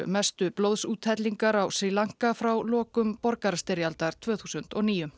mestu blóðsúthellingar á Sri Lanka frá lokum borgarastyrjaldar tvö þúsund og níu